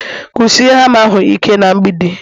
Kụsie hama ahụ ike na mgbidi